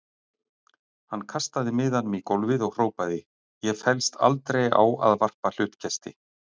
Hann kastaði miðanum í gólfið og hrópaði: Ég féllst aldrei á að varpa hlutkesti.